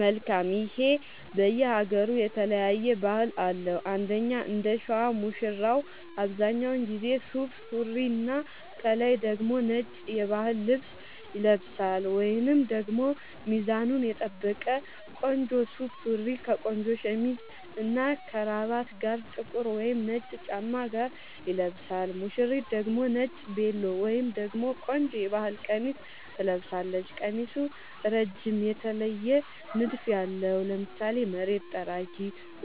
መልካም ይሄ በየ ሃገሩ የተለያየ ባህል አለው እንደኛ እንደሸዋ ሙሽራው አብዛኛውን ጊዜ ሱፍ ሱሪና ከላይ ደግሞ ነጭ የባህል ልብስ ይለብሳልወይንም ደግሞ ሚዛኑን የጠበቀ ቆንጆ ሱፍ ሱሪ ከቆንጆ ሸሚዝ እና ከረባት ጋር ጥቁር ወይም ነጭ ጫማ ጋር ይለብሳል ሙሽሪት ደግሞ ነጭ ቬሎ ወይም ደግሞ ቆንጆ የባህል ቀሚስ ትለብሳለች ቀሚሱ እረጅም የተለየ ንድፍ ያለው ( ለምሳሌ መሬት ጠራጊ